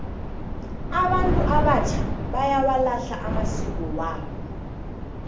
abantu abatjha bayawalahla amasiko wabo